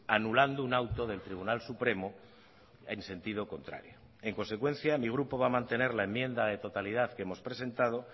anulando un auto del tribunal supremo en sentido contrario en consecuencia mi grupo va a mantener la enmienda de totalidad que hemos presentado